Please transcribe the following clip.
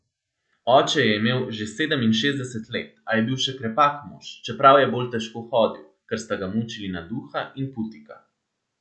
Oče je imel že sedeminšestdeset let, a je bil še krepak mož, čeprav je bolj težko hodil, ker sta ga mučili naduha in putika.